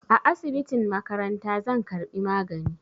A asibitin makaranta zan karbi magani